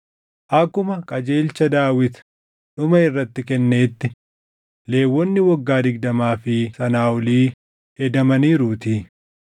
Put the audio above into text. Akkuma qajeelcha Daawit dhuma irratti kenneetti, Lewwonni waggaa digdamaa fi sanaa olii hedamaniiruutii.